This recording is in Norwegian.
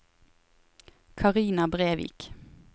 Carina Brevik